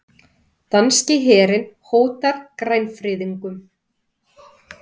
Danski herinn hótar grænfriðungum